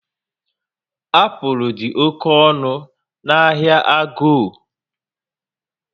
Apụl dị oke ọnụ na ahịa Ago